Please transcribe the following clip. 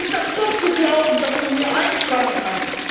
Es ist absurd zu glauben, dass man hier einsparen kann.